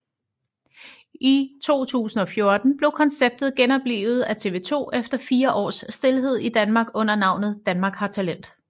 I 2014 blev konceptet genoplivet af TV2 efter fire års stilhed i Danmark under navnet Danmark har talent